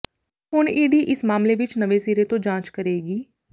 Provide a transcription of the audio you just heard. ਹੁਣ ਈਡੀ ਇਸ ਮਾਮਲੇ ਵਿਚ ਨਵੇਂ ਸਿਰੇ ਤੋਂ ਜਾਂਚ ਕਰੇਗੀ